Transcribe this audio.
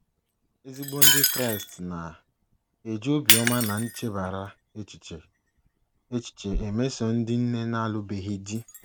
Ezigbo ndị Kraịst na - eji obiọma na nchebara echiche echiche emeso ndị nne na - alụbeghị di